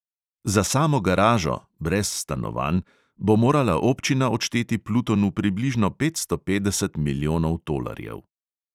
Za samo garažo (brez stanovanj) bo morala občina odšteti plutonu približno petsto petdeset milijonov tolarjev.